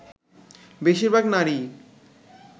বেশির ভাগ নারীই